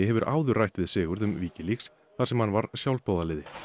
hefur áður rætt við Sigurð um Wikileaks þar sem hann var sjálfboðaliði